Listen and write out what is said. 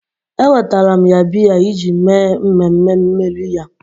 Ewetara m ya biya iji mee mmemme mmeri ya